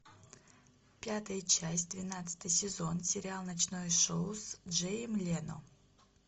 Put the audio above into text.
пятая часть двенадцатый сезон сериал ночное шоу с джейем лено